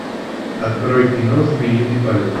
открой кино змеиный полет